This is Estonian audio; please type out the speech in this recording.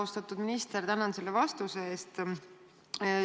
Austatud minister, tänan selle vastuse eest!